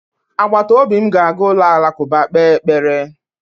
Agbataobi m ga-aga ụlọ alakụba kpee ekpere